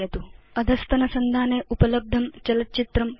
अधस्तनसंधाने उपलब्धं चलच्चित्रं पश्यतु